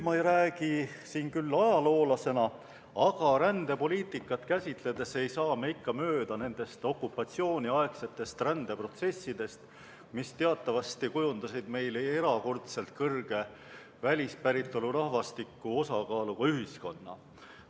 Ma ei räägi siin küll ajaloolasena, aga rändepoliitikat käsitledes ei saa me ikka mööda nendest okupatsiooniaegsetest rändeprotsessidest, mis teatavasti kujundasid meil erakordselt suure välispäritolu rahvastiku osakaaluga ühiskonna.